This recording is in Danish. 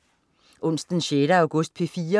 Onsdag den 6. august - P4: